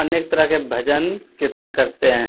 अनेक तरह के भजन-कीर्तन करते हैं।